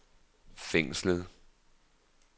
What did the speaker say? fængslet